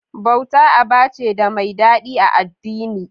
Bauta aba ce da mai daɗi a addini.